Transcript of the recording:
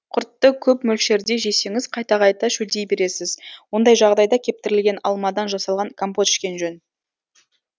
құртты көп мөлшерде жесеңіз қайта қайта шөлдей бересіз ондай жағдайда кептірілген алмадан жасалған компот ішкен жөн